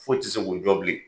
Foyi ti se k'u jɔ bilen.